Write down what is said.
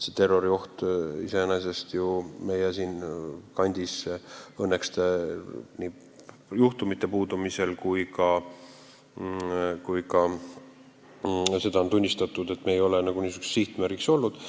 Suurt terroriohtu iseenesest siin meie kandis õnneks praegu pole: juhtumid puuduvad ja ka seda on tunnistatud, et me ei ole niisuguseks sihtmärgiks olnud.